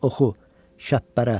Oxu, Şəpbərə.